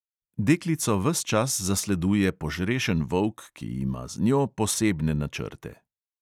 Deklico ves čas zasleduje požrešen volk, ki ima z njo posebne načrte.